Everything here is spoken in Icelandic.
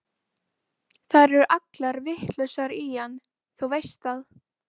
Þær eru allar vitlausar í hann, þú veist það.